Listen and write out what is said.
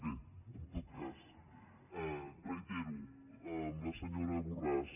bé en tot cas reitero a la senyora borràs